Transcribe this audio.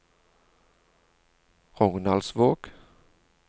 Rognaldsvåg